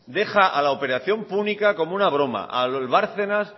deja a la operación púnica como una broma al bárcenas